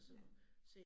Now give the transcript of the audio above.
Ja